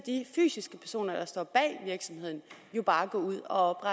fysiske personer der står bag virksomheden jo bare gå ud og